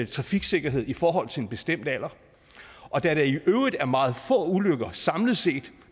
trafiksikkerhed i forhold til en bestemt alder og der er i øvrigt meget få ulykker samlet set